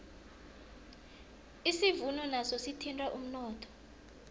isivuno naso sithinta umnotho